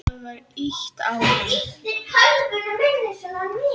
Það var ýtt á hann.